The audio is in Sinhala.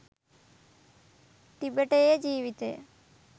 ටිබෙටයේ ජීවිතය